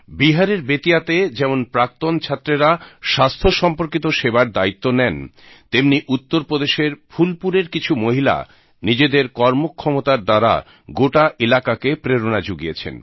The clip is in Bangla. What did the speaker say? বিহারের বেতিয়াতে যেমন প্রাক্তন ছাত্রেরা স্বাস্থ্য সম্পর্কিত সেবার দ্বায়িত্ব নেন তেমনি উত্তরপ্রদেশের ফুলপুরের কিছু মহিলা নিজেদের কর্মক্ষমতার দ্বারা গোটা এলাকাকে প্রেরণা জুগিয়েছেন